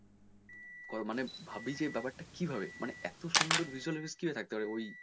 মানে ভাবি যে ব্যাপার টা কীভাবে মানে এতো সুন্দর visual effects কীভাবে থাকতে পারে ওই,